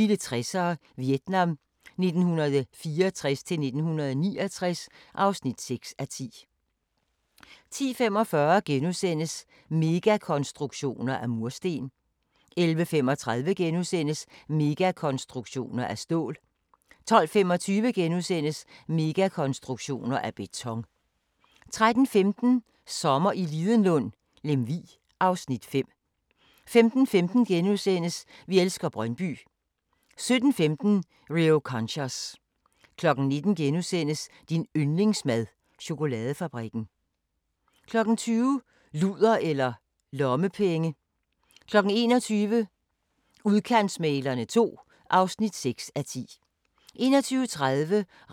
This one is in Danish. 08:30: Dagens sang: Herlig en sommernat 08:35: En by i provinsen (7:17)* 09:30: En by i provinsen (8:17)* 10:20: Historien om Danmark: Sen middelalder (5:5)* 11:20: I skyggen af kajakkerne (Afs. 5)* 12:10: Kærlighed og kaos i kollektivet (5:6)* 12:40: Matador – Den rejsende (1:24) 13:25: Matador – Genboen (2:24) 14:05: Matador – Skiftedag (3:24) 14:55: Matador – Skyggetanten (4:24)